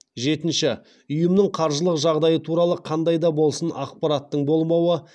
жетінші ұйымның қаржылық жағдайы туралы қандай да болсын ақпараттың болмауы